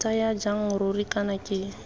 ntsaya jang ruri kana ke